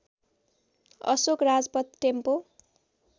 Ashok Rajpath tempo